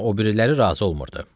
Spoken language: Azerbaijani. Amma o biriləri razı olmurdu.